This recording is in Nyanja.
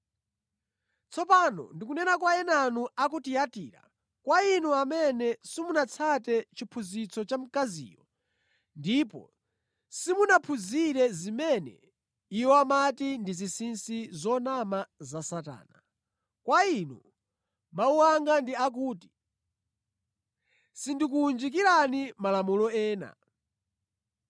Tsopano ndikunena kwa enanu a ku Tiyatira, kwa inu amene simunatsate chiphunzitso cha mkaziyo ndipo simunaphunzire zimene iwo amati ndi ‘zinsinsi zonama’ za Satana. Kwa inu mawu anga ndi akuti sindikuwunjikirani malamulo ena.